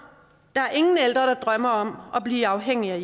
der er ingen ældre der drømmer om at blive afhængig af